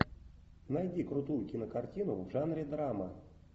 найди крутую кинокартину в жанре драма